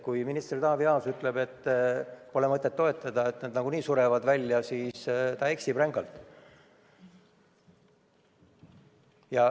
Kui minister Taavi Aas ütleb, et pole mõtet toetada, nad nagunii surevad välja, siis ta eksib rängalt.